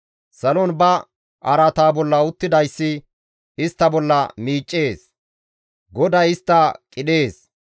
Salon ba araata bolla uttidayssi istta bolla miiccees; Goday istta qidhees.